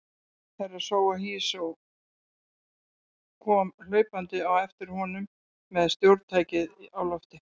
Herra Toahizo kom hlaupandi á eftir honum með stjórntækið á lofti.